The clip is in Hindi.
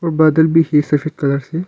बादल भी फिर सफेद कलर से--